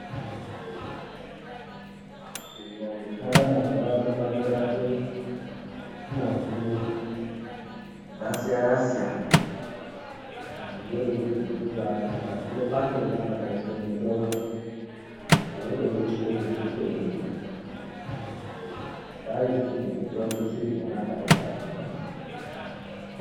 Nzira dzoshanda mazuvano pakurape mazino dzasiyana-siyana. Dzimweni ngedzekubaati pazino pachona pakaiswe mutombo unotoone chikonye chichitobuda, chaisirwe mutombo chiripona apapo pazinopo.